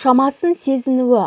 шамасын сезінуі